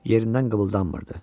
Yerindən qımıldanmırdı.